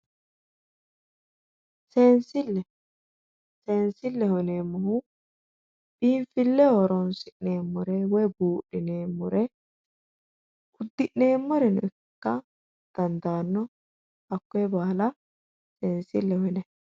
Seensile, seensileho yineemmohu biinfileho horonsi'neemmore woyi budhineemmore udi'neemmoreno ikka dandaano hakkoe baalla seensileho yinanni.